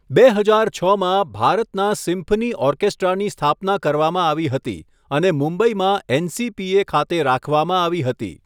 બે હજાર છમાં, ભારતના સિમ્ફની ઓર્કેસ્ટ્રાની સ્થાપના કરવામાં આવી હતી, અને મુંબઈમાં એનસીપીએ ખાતે રાખવામાં આવી હતી.